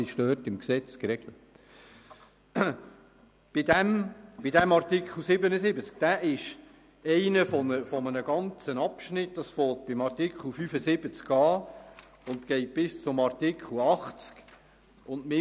Dieser Artikel 77 ist einer von einem ganzen Abschnitt, der bei Artikel 75 beginnt und bis Artikel 80 geht.